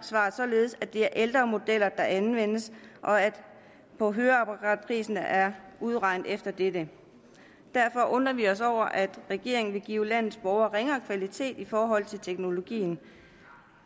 svaret således at det er ældre modeller der anvendes og at høreapparatprisen er udregnet efter dette derfor undrer vi os over at regeringen vil give landets borgere ringere kvalitet i forhold til teknologien